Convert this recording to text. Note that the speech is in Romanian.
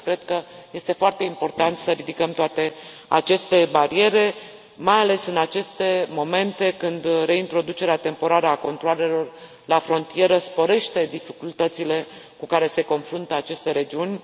Deci, cred că este foarte important să ridicăm toate aceste bariere, mai ales în aceste momente, când reintroducerea temporară a controalelor la frontieră sporește dificultățile cu care se confruntă aceste regiuni.